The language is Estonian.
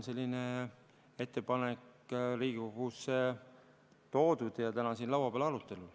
Selline ettepanek on Riigikogusse toodud ja täna siin arutelul.